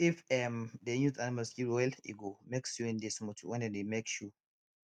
if um dem use animal skin well e go make sewing dey smooth wen dem dey make shoe